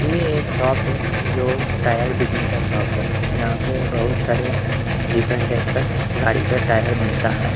ये एक शॉप है जो टायर बिकने का शॉप है जहां पे बहुत सारे डिफरेंट टाइप का गाड़ी का टायर मिलता है।